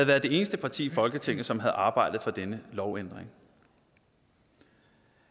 været det eneste parti i folketinget som havde arbejdet for denne lovændring